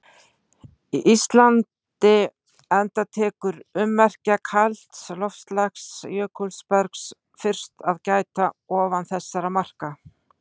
Íslandi enda tekur ummerkja kalds loftslags- jökulbergs- fyrst að gæta ofan þessara marka.